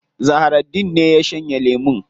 Zahraddeen ne ya shanye lemun.